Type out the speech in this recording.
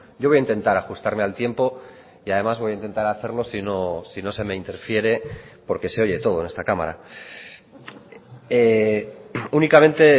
yo voy a intentar ajustarme al tiempo y además voy a intentar hacerlo sino se me interfiere porque se oye todo en esta cámara únicamente